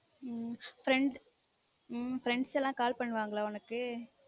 உம் friend உம் friends எல்லா call பண்ணுவாங்களா உனக்கு